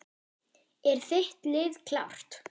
Er þitt lið klárt?